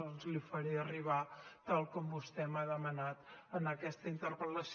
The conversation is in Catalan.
doncs les hi faré arribar tal com vostè m’ha demanat en aquesta interpel·lació